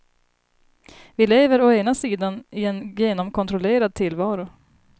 Vi lever å ena sidan i en genomkontrollerad tillvaro.